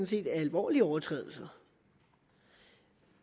set er alvorlige overtrædelser